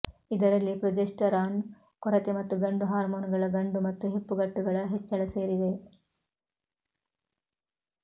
ಇದರಲ್ಲಿ ಪ್ರೊಜೆಸ್ಟರಾನ್ ಕೊರತೆ ಮತ್ತು ಗಂಡು ಹಾರ್ಮೋನುಗಳ ಗಂಡು ಮತ್ತು ಹೆಪ್ಪುಗಟ್ಟುಗಳ ಹೆಚ್ಚಳ ಸೇರಿವೆ